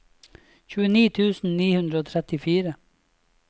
tjueni tusen ni hundre og trettifire